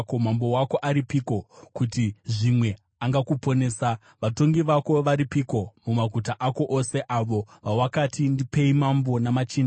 Mambo wako aripiko, kuti zvimwe angakuponesa? Vatongi vako varipiko mumaguta ako ose, avo vawakati, ‘Ndipei mambo namachinda’?